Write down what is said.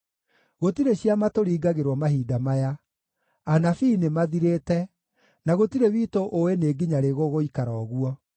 Gũtirĩ ciama tũringagĩrwo mahinda maya; anabii nĩmathirĩte, na gũtirĩ witũ ũũĩ nĩ nginya rĩ gũgũikara ũguo.